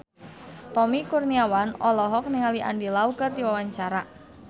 Tommy Kurniawan olohok ningali Andy Lau keur diwawancara